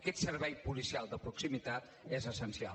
aquest servei policial de proximitat és essencial